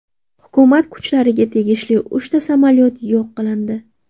Hukumat kuchlariga tegishli uchta samolyot yo‘q qilindi.